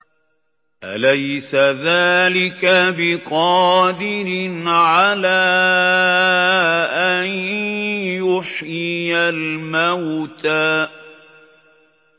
أَلَيْسَ ذَٰلِكَ بِقَادِرٍ عَلَىٰ أَن يُحْيِيَ الْمَوْتَىٰ